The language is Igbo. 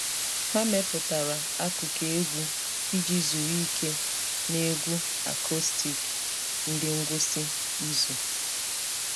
Ha mepụtara akụkụ egwu iji zuru ike na egwu acoustic na ngwụsị izu.